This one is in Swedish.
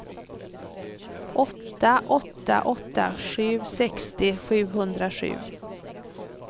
åtta åtta åtta sju sextio sjuhundrasju